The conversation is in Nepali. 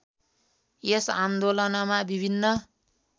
यस आन्दोलनमा विभिन्न